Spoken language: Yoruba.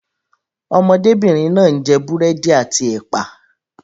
Ọmọdébìnrin náà ń jẹ búrẹ́dì àti ẹ̀pà.